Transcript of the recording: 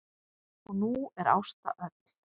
Og nú er Ásta öll.